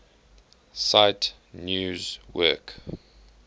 cite news work